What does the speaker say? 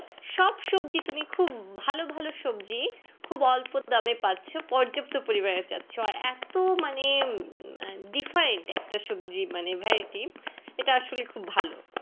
সব সবজি তুমি খুব ভালো ভালো সবজি খুব অল্প দামে পাচ্ছ পর্যপ্ত পরিমানে পাচ্ছ এত মানে different একটা সবজি মানে variety যেটা আসলে খুব ভালো।